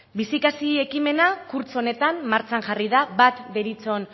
bizikasi ekimena kurtso honetan martxan jarri da bat deritzon